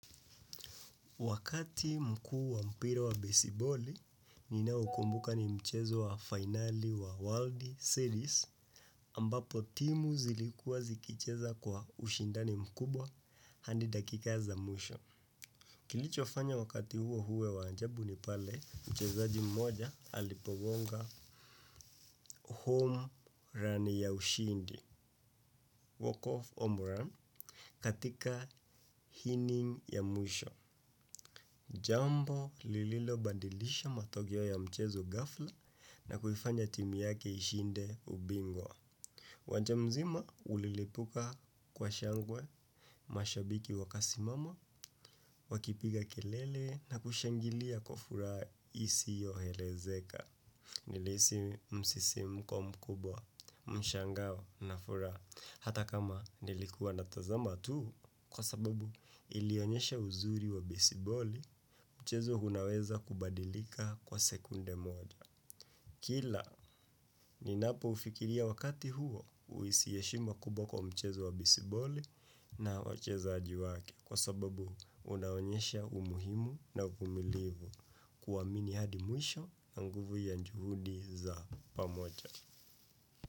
Wakati mkuu wa mpira wa besiboli, nina ukumbuka ni mchezo wa finali wa World Series, ambapo timu zilikua zikicheza kwa ushindani mkubwa, hadi dakika za mwisho. Kilicho fanya wakati huo uwe waajabu ni pale, mchezaji mmoja alipogonga home run ya ushindi, walk of home run, katika hinning ya mwisho. Jambo lililo badilisha matokeo ya mchezo gafla na kufanya timu yake ishinde ubingwa. Uwanja mzima ulilipuka kwa shangwe mashabiki wakasimama, wakipiga kelele na kushangilia kwa furaha isiyo elezeka. Nilihisi msisimko mkubwa mshangao na furaha hata kama nilikuwa natazama tu kwa sababu ilionyesha uzuri wa bisiboli mchezo unaweza kubadilika kwa sekunde moja. Kila, ninapo ufikiria wakati huo uhisi heshima kubwa kwa mchezo wa bisiboli na wachezaji wake kwa sababu unaonyesha umuhimu na umumilivu kuamini hadi mwisho na nguvu ya juhudi za pamoja.